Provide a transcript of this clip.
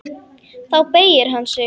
Þá beygir hann sig.